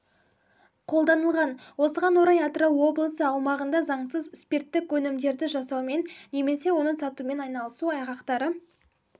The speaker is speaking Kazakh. қолданылған осыған орай атырау облысы аумағында заңсыз сприттік өнімдерді жасаумен немесе оны сатумен айналысу айғақтары